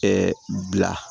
bila